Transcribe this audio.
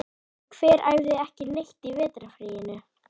En hver æfði ekki neitt í vetrarfríinu?